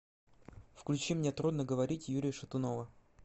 включи мне трудно говорить юрия шатунова